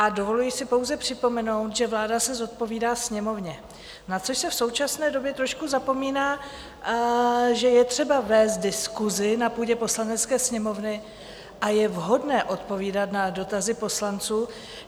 A dovoluji si pouze připomenout, že vláda se zodpovídá Sněmovně, na což se v současné době trošku zapomíná, že je třeba vést diskusi na půdě Poslanecké sněmovny a je vhodné odpovídat na dotazy poslanců.